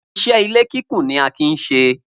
Iṣẹ́ ilé kíkùn ni Akin ń ṣe